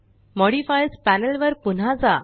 modifiers panel वर पुन्हा जा